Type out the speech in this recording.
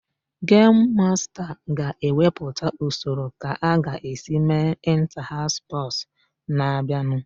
Gemu masta ga-ewepụta usoro ka a ga-esi mee ịnta-haụs spọsụ na-abịanụ.